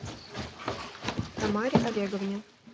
тамаре олеговне